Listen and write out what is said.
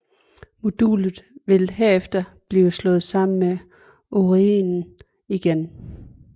Modulet vil herefter blive slået sammen med Orionen igen